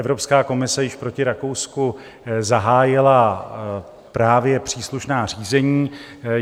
Evropská komise již proti Rakousku zahájila právě příslušná řízení.